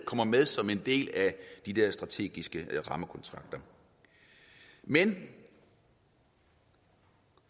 kommer med som en del af de der strategiske rammekontrakter men